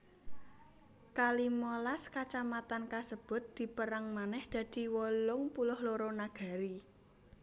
Ka limalas kacamatan kasebut dipérang manèh dadi wolung puluh loro nagari